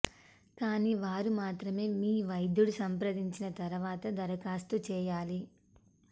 కానీ వారు మాత్రమే మీ వైద్యుడు సంప్రదించిన తర్వాత దరఖాస్తు చేయాలి